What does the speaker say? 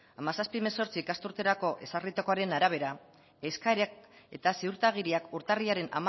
hamazazpi hemezortzi ikasturterako ezarritakoren arabera eskariak eta ziurtagiriak urtarrilaren